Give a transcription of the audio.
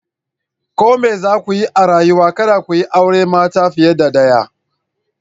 Ko me za ku yi a rayuwa, kada ku yi aure mata fiye da daya.